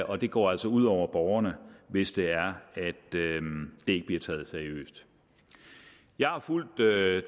og det går altså ud over borgerne hvis det er at det ikke bliver taget seriøst jeg har fulgt det